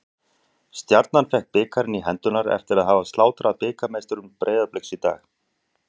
Stjarnan fékk bikarinn í hendurnar eftir að hafa slátrað bikarmeisturum Breiðabliks í dag.